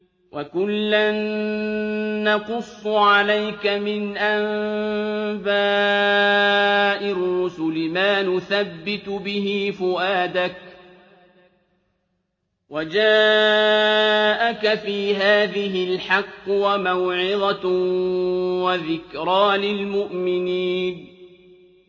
وَكُلًّا نَّقُصُّ عَلَيْكَ مِنْ أَنبَاءِ الرُّسُلِ مَا نُثَبِّتُ بِهِ فُؤَادَكَ ۚ وَجَاءَكَ فِي هَٰذِهِ الْحَقُّ وَمَوْعِظَةٌ وَذِكْرَىٰ لِلْمُؤْمِنِينَ